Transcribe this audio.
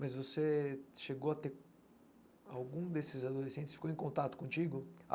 Mas você chegou a ter algum desses adolescentes, ficou em contato contigo?